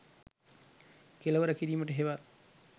කෙලවර කිරීමට හෙවත්